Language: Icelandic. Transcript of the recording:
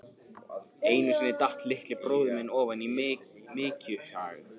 Einu sinni datt litli bróðir minn ofan í mykjuhaug.